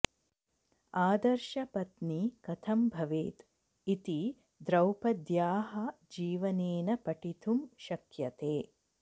आदर्श पत्नी कथं भवेत् इति द्रौपद्याः जीवनेन पठितुं शक्यते